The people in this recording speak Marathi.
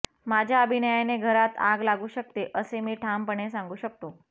माझ्या अभिनयाने घरात आग लागू शकते असे मी ठामपणे सांगू शकतो